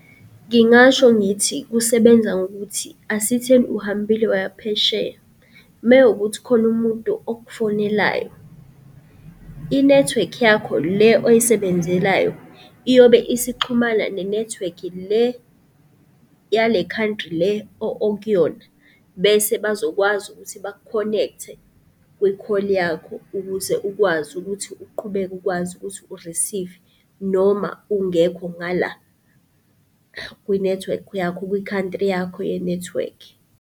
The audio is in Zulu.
Ngingasho ngithi kusebenza ngokuthi asitheni uhambile waya phesheya mewukuthi kukhona umuntu okufonelayo, inethiwekhi yakho le oyisebenzelayo iyobe isixhumana nenethiwekhi le yale country le okuyona, bese bazokwazi ukuthi baku-connect-e kwi-call yakho ukuze ukwazi ukuthi uqhubeke ukwazi ukuthi u-receive-e noma ungekho ngala kwinethiwekhi yakho kwi-country yakho yenethiwekhi.